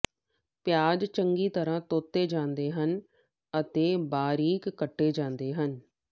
ਪਿਆਜ਼ ਚੰਗੀ ਤਰਾਂ ਧੋਤੇ ਜਾਂਦੇ ਹਨ ਅਤੇ ਬਾਰੀਕ ਕੱਟੇ ਹੋਏ ਹਨ